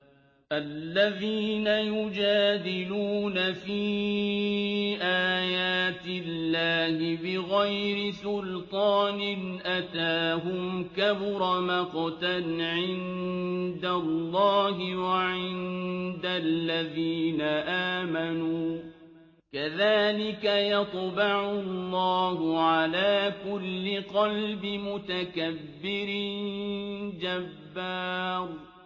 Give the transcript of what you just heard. الَّذِينَ يُجَادِلُونَ فِي آيَاتِ اللَّهِ بِغَيْرِ سُلْطَانٍ أَتَاهُمْ ۖ كَبُرَ مَقْتًا عِندَ اللَّهِ وَعِندَ الَّذِينَ آمَنُوا ۚ كَذَٰلِكَ يَطْبَعُ اللَّهُ عَلَىٰ كُلِّ قَلْبِ مُتَكَبِّرٍ جَبَّارٍ